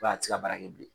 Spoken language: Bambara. a tɛ se ka baara kɛ bilen